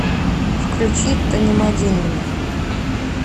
включи танимадингми